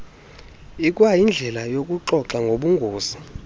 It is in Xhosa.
ikwayindlela yokuxoxa ngobungozi